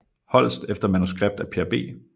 Holst efter manuskript af Per B